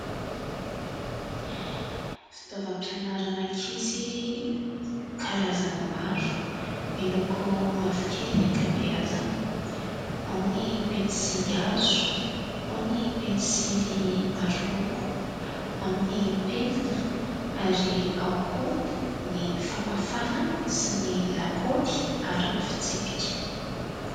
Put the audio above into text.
Fitaovam-pianaran'ankizy karazany maro miloko mavokely ny ankabeazany. Ao ny pensily azo ao ny pensily maroloko, ao ny penina ary ao koa ny famafana sy ny lakaoly ary ny fitsipika.